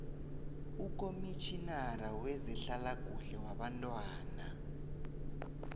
ukomitjhinara wezehlalakuhle yabantwana